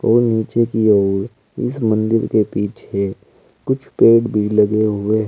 और नीचे की और इस मंदिर के पीछे कुछ पेड़ भी लगे हुए है।